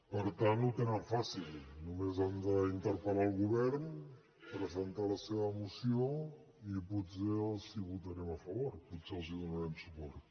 per tant ho tenen fàcil només han d’interpel·lar el govern presentar la seva moció i potser els la votarem a favor potser els donarem suport